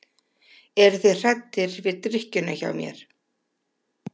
Eru þeir hræddir við drykkjuna hjá mér?